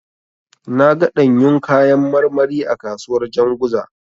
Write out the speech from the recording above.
Na ga ɗanyun kayan marmari a kasuwar Janzuga.